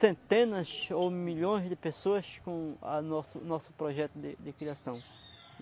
centenas ou milhões de pessoas com a o nosso o nosso projeto de criação.